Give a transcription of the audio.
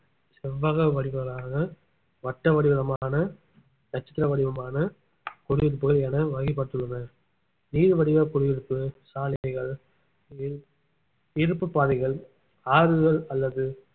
செவ்வக வடிவளான வட்ட வடிவமான நட்சத்திர வடிவமான குடியிருப்புகள் என வகை பட்டுள்ளனர் நீள் வடிவ குடியிருப்பு சாலைகள் இருப்~ இருப்பு பாதைகள் ஆறுகள் அல்லது